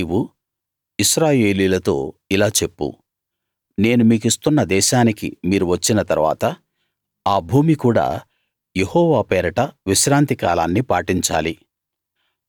నీవు ఇశ్రాయేలీయులతో ఇలా చెప్పు నేను మీకిస్తున్న దేశానికి మీరు వచ్చిన తరువాత ఆ భూమి కూడా యెహోవా పేరట విశ్రాంతి కాలాన్ని పాటించాలి